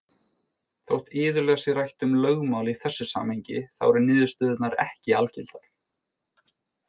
Þótt iðulega sé rætt um lögmál í þessu samhengi þá eru niðurstöðurnar ekki algildar.